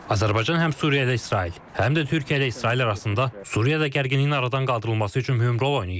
Azərbaycan həm Suriya ilə İsrail, həm də Türkiyə ilə İsrail arasında Suriyada gərginliyin aradan qaldırılması üçün mühüm rol oynayıb.